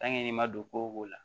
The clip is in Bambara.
i ma don ko o ko la